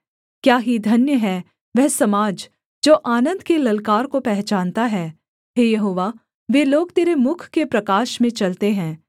क्या ही धन्य है वह समाज जो आनन्द के ललकार को पहचानता है हे यहोवा वे लोग तेरे मुख के प्रकाश में चलते हैं